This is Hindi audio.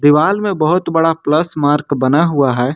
दीवाल में बहुत बड़ा प्लस मार्क बना हुआ है।